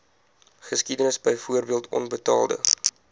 geskiedenis byvoorbeeld onbetaalde